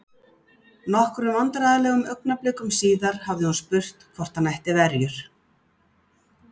Nokkrum vandræðalegum augnablikum síðar hafði hún spurt hvort hann ætti verjur?